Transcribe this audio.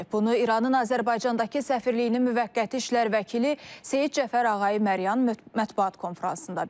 Bunu İranın Azərbaycandakı səfirliyinin müvəqqəti işlər vəkili Seyid Cəfər Ağayi Məryan mətbuat konfransında bildirib.